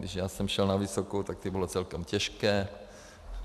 Když já jsem šel na vysokou, tak to bylo celkem těžké.